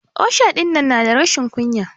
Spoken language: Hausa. Osha dinnan na da rashin kunya.